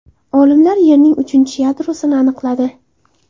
Olimlar Yerning uchinchi yadrosini aniqladi.